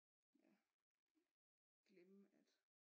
Glemme at